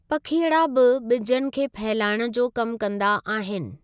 पखीअड़ा बि ॿिजनि खे फैलाइण जो कमु कंदा आहिनि।